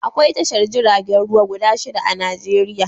Akwai tashar jiragen ruwa guda shida a Najeriya